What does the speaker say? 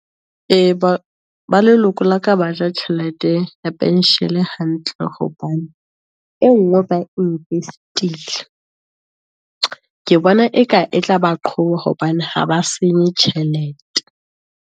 E, ba leloko la ka baja tjhelete penshele hantle, hobane e nngwe ba invest-ile, ke bona eka e tla ba qoba, hobane ha ba senye tjhelete.